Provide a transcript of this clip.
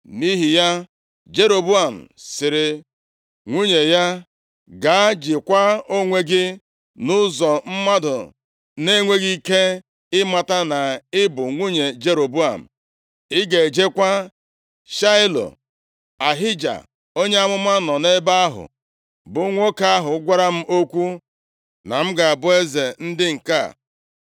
Nʼihi ya, Jeroboam sịrị nwunye ya, “Gaa, jikwaa onwe gị nʼụzọ mmadụ na-enweghị ike ịmata na ị bụ nwunye Jeroboam. Ị ga-ejekwa Shaịlo, Ahija onye amụma nọ nʼebe ahụ, bụ nwoke ahụ gwara m okwu na m ga-abụ eze ndị nke a.